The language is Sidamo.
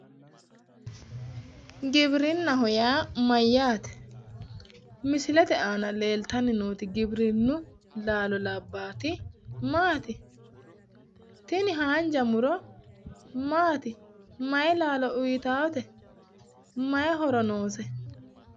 Giwirinahho yaa Mayyaate? Misilete aana leelitanni nooti giwirinu laalo labbaat maati? Tini haanija muro maati? Mayi laalo uyitaate? Mayi horo noose?